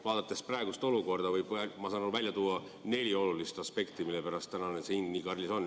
Vaadates praegust olukorda, võib välja tuua neli olulist aspekti, mille pärast see hind nii kallis on.